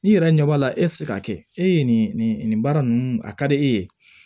I yɛrɛ ɲɛ b'a la e tɛ se k'a kɛ e ye nin baara ninnu a ka di e ye